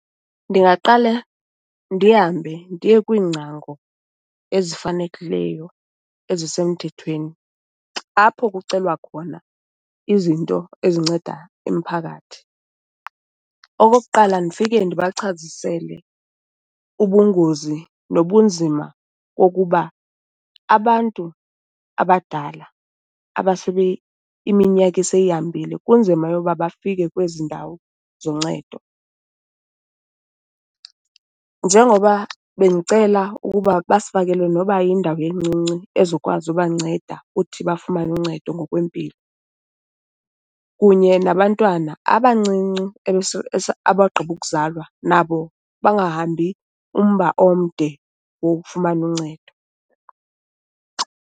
Ndingaqale ndihambe ndiye kwiingcango ezifanelekileyo ezisemthethweni apho kucelwa khona izinto ezinceda umphakathi. Okokuqala ndifike ndibachazisele ubungozi nobunzima kokuba abantu abadala iminyaka eseyihambile kunzima yoba bafike kwezi ndawo zoncedo. Njengoba bendicela ukuba basifakele noba yindawo encinci ezokwazi ubanceda uthi bafumane uncedo ngokwempilo. Kunye nabantwana abancinci abagqiba ukuzalwa, nabo bangahambi umba omde wokufumana uncedo.